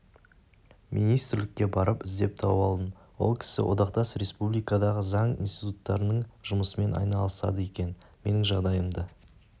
министрлікке барып іздеп тауып алдым ол кісі одақтас республикадағы заң институттарының жұмысымен айналысады екен менің жағдайымды